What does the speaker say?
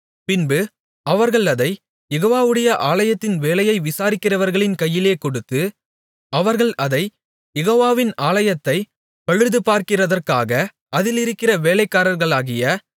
பின்பு அவர்கள் அதைக் யெகோவாவுடைய ஆலயத்தின் வேலையை விசாரிக்கிறவர்களின் கையிலே கொடுத்து அவர்கள் அதைக் யெகோவாவின் ஆலயத்தைப் பழுது பார்க்கிறதற்காக அதிலிருக்கிற வேலைக்காரர்களாகிய